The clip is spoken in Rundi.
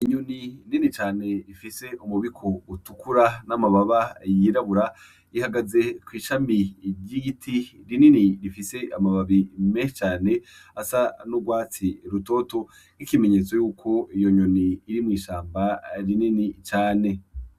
Inyoni nini cane ifise umubiko utukura n'amababa yirabura ihagaze kw'ishami ry'igiti rinini rifise amababi menshi cane, asa n'urwatsi rutoto nk'ikimenyetso yuko iyo nyoni iri mw'ishamba rinini cane.